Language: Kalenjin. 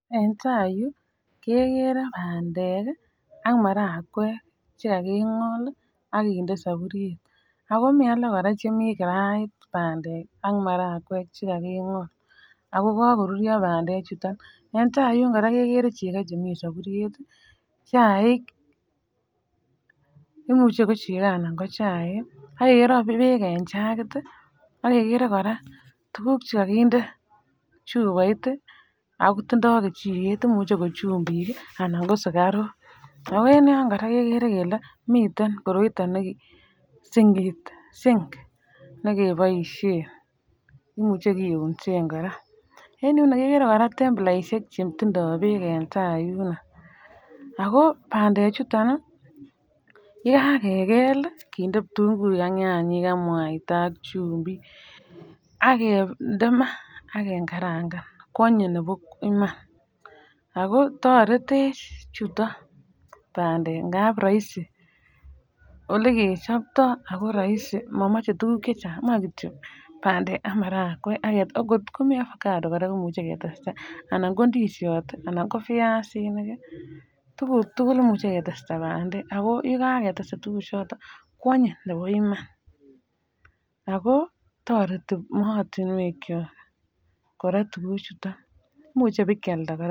En tai Yu kegere bandek ak maragweek chekakokingol ak kinde soburyet ago mi alak chekokinde kirait banyek ak maragweek chekakokingol ago komoruryo bandek chuton en tai yu koraa kegere chekoo chemi sabutyet chaik [pause imuche ko chekoo anan ko chaik age kere beek en jakit age kere koraa tuguk che kakinde chupoit ago tindoo kechiket imuche ko chupik anan ko sukaruk ago en yon koraa kekere kele miten koroitoo sinkit sink neke boisien imuche kiusen koraa en kegere koraa templaishek chetindo beek en tai iroyuno ago bandee ichuton yekakebel kinde nyanyik ak kitunguik ak mwaita ak chupik ak kinde maa ak kengarakan kwonyin nebo Iman ago toretech chuton bandek ingap raisi ole kechoptoo ago raisi momoche tuguk chechang moe kityo bandek ak maragweek um kot ko Mii avocado komuche ketesta anan ko indishot anan ko viazinik tuguk tugul komuche ketesta bandek ago yekan ketesta bandek chuton ko anyin nebo Iman ago toreti mootinwek Kyo koraa tuguk chuton imuche bekealda koraa.